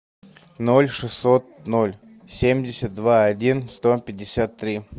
ноль шестьсот ноль семьдесят два один сто пятьдесят три